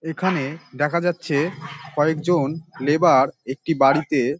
এইখানে দেখা যাচ্ছে কয়েকজন লেবার একটি বাড়িতে--